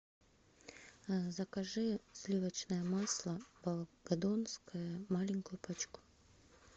закажи сливочное масло волгодонское маленькую пачку